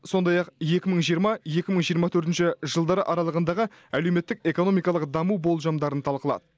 сондай ақ екі мың жиырма екі мың жиырма төртінші жылдар аралығындағы әлеуметтік экономикалық даму болжамдарын талқылады